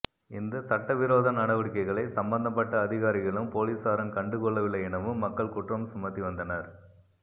இந்த சட்டவிரோத நடவடிக்கைகளை சம்பந்தப்பட்ட அதிகாரிகளும் பொலிஸாரும் கண்டு கொள்ளவில்லை எனவும் மக்கள் குற்றம் சுமத்தி வந்தனர்